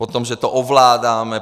Potom že to ovládáme.